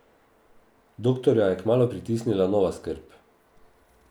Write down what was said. Doktorja je kmalu pritisnila nova skrb.